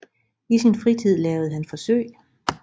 I sin fritid lavede han forsøg